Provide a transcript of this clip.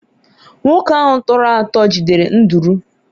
nwoke ahụ tọrọ atọ jidere nduru